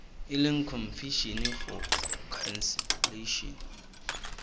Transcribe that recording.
e leng commission for conciliation